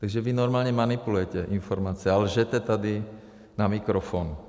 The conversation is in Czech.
Takže vy normálně manipulujete informace a lžete tady na mikrofon.